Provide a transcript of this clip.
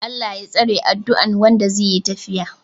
"Allah Ya tsare" adduan Wanda zai yi tafiya